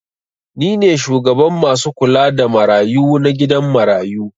Ni ne shugaban masu kula da marayu na gidan marayu.